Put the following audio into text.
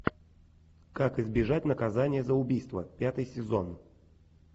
как избежать наказания за убийство пятый сезон